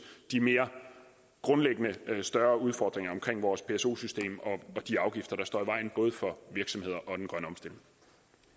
de mere grundlæggende større udfordringer omkring vores pso system og de afgifter der står i vejen både for virksomheder